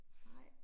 Nej